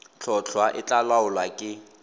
tlhotlhwa e tla laolwa ke